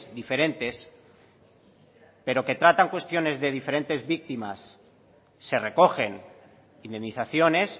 diferentes pero que tratan cuestiones de diferentes víctimas se recogen indemnizaciones